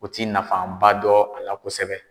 U t'i nafaba dɔ a la kosɛbɛ.